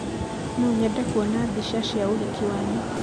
nonyende kuona mbica cia ũhiki wanyu